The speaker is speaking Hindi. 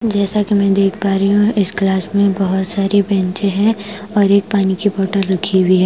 जैसा कि मैं देख पा रही हूं इस क्लास में बहोत सारी बेचें हैं और एक पानी की बोतल रखी हुई है।